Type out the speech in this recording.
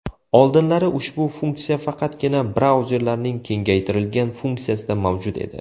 Oldinlari ushbu funksiya faqatgina brauzerlarning kengaytirilgan funksiyasida mavjud edi.